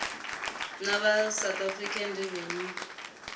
na va south african revenue